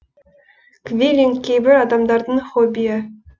квиллинг кейбір адамдардың хоббиі